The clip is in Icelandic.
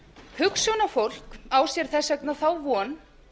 hugsjónafólk á sér þess vegna þá von